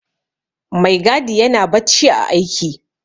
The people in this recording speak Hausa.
Maigadi yana bacci ã aiki.